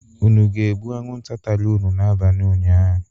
Unu ga-egbu anwụnta tara unu n'abalị ụnyaahụ?